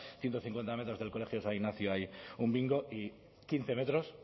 ciento cincuenta metros del colegio san ignacio hay un bingo y quince metros